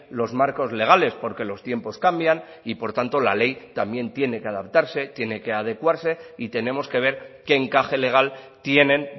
los marcos legales porque los tiempos cambian y por tanto la ley también tiene que adaptarse tiene que adecuarse y tenemos que ver qué encaje legal tienen